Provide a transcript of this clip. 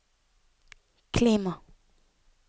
klima